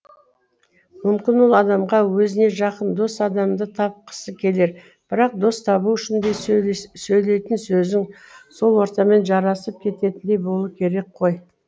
мүмкін ол адамға өзіне жақын дос адамды тапқысы келер бірақ дос табу үшін де сөйлейтін сөзің сол ортамен жарасып кететіндей болу керек қой